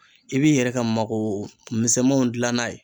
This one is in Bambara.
I b'i yɛrɛ ka mago misɛnmanw gilan n'a ye